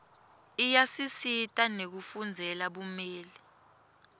iyasisita nekufundzela bumeli